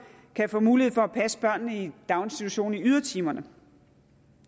kan få mulighed for at passe børnene i en daginstitution i ydertimerne